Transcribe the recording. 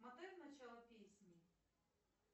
мотай в начало песни